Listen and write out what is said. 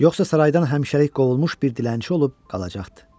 Yoxsa saraydan həmişəlik qovulmuş bir dilənçi olub qalacaqdı.